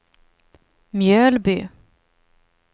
Mjölby